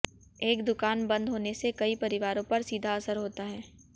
एक दुकान बंद होने से कई परिवारों पर सीधा असर होता है